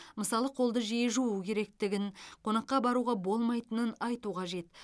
мысалы қолды жиі жуу керектігін қонаққа баруға болмайтынын айту қажет